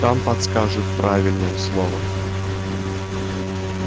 там подскажут правильные слова